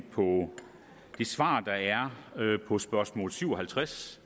på det svar der er på spørgsmål syv og halvtreds